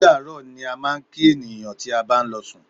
Ódàárọ̀ ni a máa ń kí ènìyàn tí a bá ń lọ sùn.